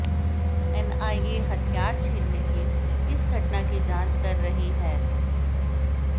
NIA हथियार छीनने की इस घटना की जांच कर रही है